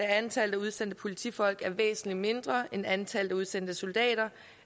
antallet af udsendte politifolk er væsentlig mindre end antallet af udsendte soldater